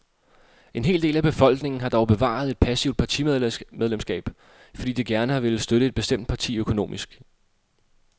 En hel del af befolkningen har dog bevaret et passivt partimedlemskab, fordi de gerne har villet støtte et bestemt parti økonomisk.